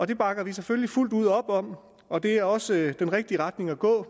det bakker vi selvfølgelig fuldt ud op om og det er også den rigtige retning at gå